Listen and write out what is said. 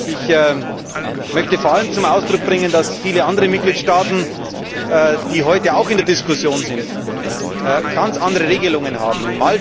Ich möchte vor allem zum Ausdruck bringen, dass viele andere Mitgliedstaaten, die heute auch in der Diskussion sind, ganz andere Regelungen haben.